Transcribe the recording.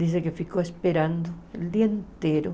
Dizem que ficou esperando o dia inteiro.